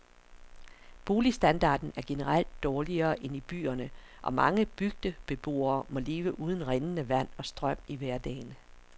Boligstandarden er generelt dårligere end i byerne, og mange bygdebeboere må leve uden rindende vand og strøm i hverdagen.